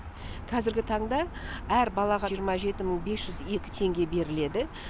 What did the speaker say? қазіргі таңда әр балаға жиырма жеті мың бес жүз екі теңге беріледі